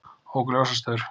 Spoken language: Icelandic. Ók á ljósastaur